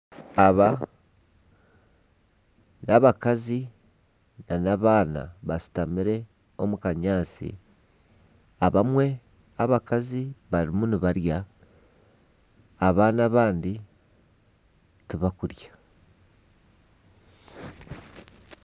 Aba n'abakazi na n'abaana bashutamire omu kanyaatsi abamwe abakazi barimu nibarya abaana abandi tibakurya.